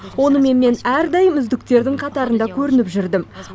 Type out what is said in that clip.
онымен мен әрдайым үздіктердің қатарында көрініп жүрдім